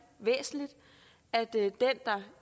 væsentligt at den der